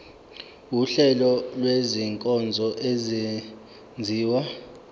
wuhlengo lwezinkonzo ezenziwa